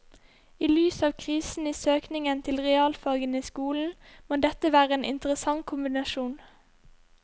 I lys av krisen i søkningen til realfagene i skolen må dette være en interessant kombinasjon.